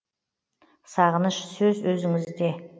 сағыныш сөз өзіңізде